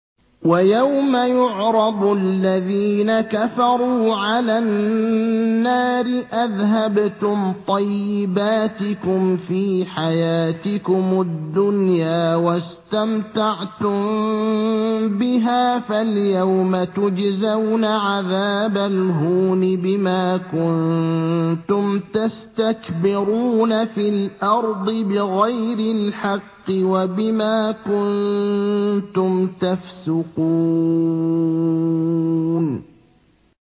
وَيَوْمَ يُعْرَضُ الَّذِينَ كَفَرُوا عَلَى النَّارِ أَذْهَبْتُمْ طَيِّبَاتِكُمْ فِي حَيَاتِكُمُ الدُّنْيَا وَاسْتَمْتَعْتُم بِهَا فَالْيَوْمَ تُجْزَوْنَ عَذَابَ الْهُونِ بِمَا كُنتُمْ تَسْتَكْبِرُونَ فِي الْأَرْضِ بِغَيْرِ الْحَقِّ وَبِمَا كُنتُمْ تَفْسُقُونَ